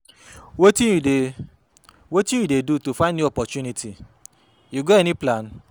wetin you dey wetin you dey do to find new opportunity, you get any plan?